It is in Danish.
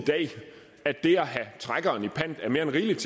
at det at have trækkeren i pant er mere end rigeligt